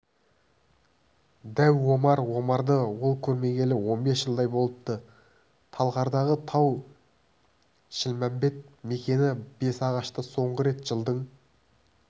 дәу омар омарды ол көрмегелі он бес жылдай болыпты талғардағы тау-шілмембет мекені бесағашта соңғы рет жылдың